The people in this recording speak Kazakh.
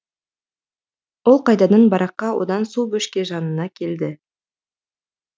ол қайтадан бараққа одан су бөшке жанына келді